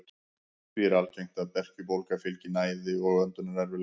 Því er algengt að berkjubólgu fylgi mæði og öndunarerfiðleikar.